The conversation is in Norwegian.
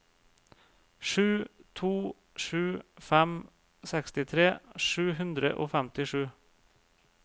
sju to sju fem sekstitre sju hundre og femtisju